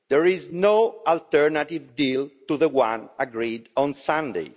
There is no alternative deal to the one agreed on Sunday.